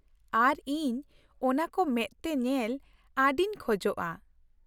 ᱟᱨ ᱤᱧ ᱚᱱᱟᱠᱚ ᱢᱮᱫᱛᱮ ᱧᱮᱞ ᱟᱹᱰᱤᱧ ᱠᱷᱚᱡᱼᱟ ᱾